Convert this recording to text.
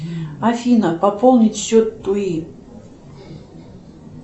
афина пополнить счет туи